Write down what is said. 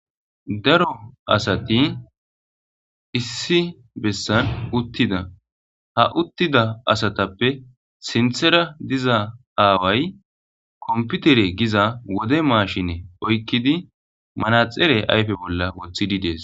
daro asati issi bessan uttida ha uttida asatappe sinthera diza aaway komputere giza wode maashine oykkidi manaxere ayfe bolla woththididees